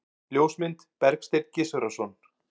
Ljósmynd: Bergsteinn Gizurarson.